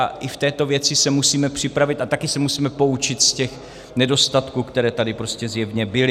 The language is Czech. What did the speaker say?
A i v této věci se musíme připravit a taky se musíme poučit z těch nedostatků, které tady prostě zjevně byly.